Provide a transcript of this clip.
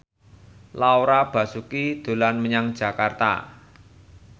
Laura Basuki dolan menyang Jakarta